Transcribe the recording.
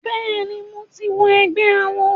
Bẹ́ẹ̀ ni, mo ti wọ ẹgbé awo.